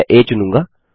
मैं आ चुनूँगा